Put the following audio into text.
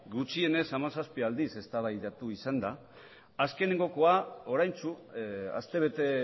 gutxienez hamazazpi aldiz eztabaidatu izan da azkenekoa oraintsu astebete